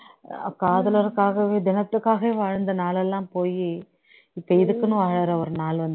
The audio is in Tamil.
காரலர்காகவே தினத்துக்காகவே வாழ்ந்த நாளேல்லாம் போய் இப்போ இதுக்குன்னு வேற ஒரு நாள் வந்து இருக்கு